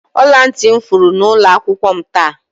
Ọla ntị m furu n'ụlọ akwụkwọ m taa.